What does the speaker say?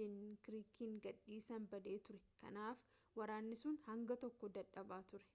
dankirkiin gad-dhiisan badee ture kanaaf waraanni sun hanga tokko dadhabaa ture